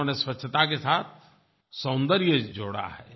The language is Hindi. उन्होंने स्वच्छता के साथ सौन्दर्य जोड़ा है